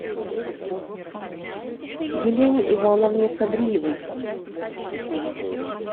елене ивановне садриевой